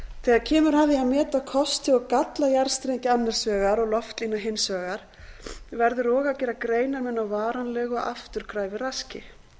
þegar kemur að því að meta kosti og galla jarðstrengja annars vegar og loftlína hins vegar verður og að gera greinarmun á varanlegu og afturkræfu raski